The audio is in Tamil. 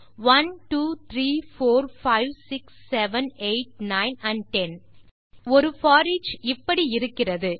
1 2 3 4 5 6 7 8 9 ஆண்ட் 10 ஆகவே ஒரு போரிச் இப்படி இருக்கிறது